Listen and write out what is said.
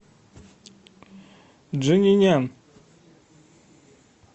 джанинян